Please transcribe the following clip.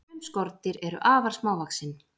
Sum skordýr eru afar smávaxin.